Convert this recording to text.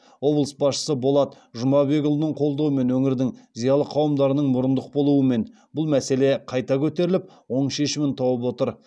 облыс басшысы болат жұмабекұлының қолдауымен өңірдің зиялы қауымдарының мұрындық болуы мен бұл мәселе қайта көтеріліп оң шешімін тауып отыр